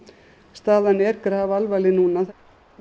staðan er grafalvarleg núna